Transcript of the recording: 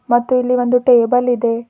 ಮತ್ತು ಎಲ್ಲಿ ಒಂದು ಟೇಬಲ್ ಇದೆ.